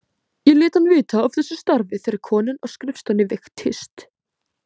Ég lét hann vita af þessu starfi þegar konan á skrifstofunni veiktist.